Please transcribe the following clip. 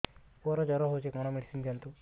ପୁଅର ଜର ହଉଛି କଣ ମେଡିସିନ ଦିଅନ୍ତୁ